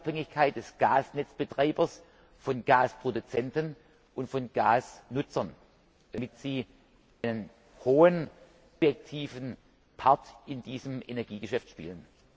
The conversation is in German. h. Unabhängigkeit des Gasnetzbetreibers von Gasproduzenten und von Gasnutzern, damit sie einen hohen, objektiven Part in diesem Energiegeschäft spielen.